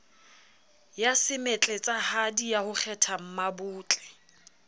ya semetletsahadi ya ho kgethammabotle